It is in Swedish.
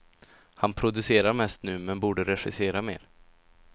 Han producerar mest nu, men borde regissera mer.